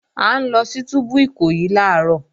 À ń lọ sí túbú Ìkòyí làárọ̀